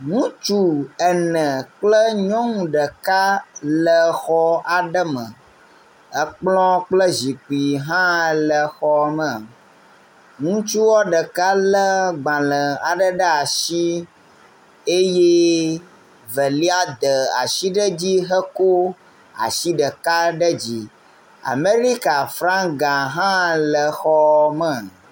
Ŋutsu ene kple nyɔu ɖeka le xɔ aɖe me. Ekplɔ kple zikpui hã le xɔ me. Ŋutusau ɖeka le gbale aɖe ɖe asi eye velai de asi ɖe edzi heko asi ɖeka ɖe dzi. Amerika flaga hã le xɔ me.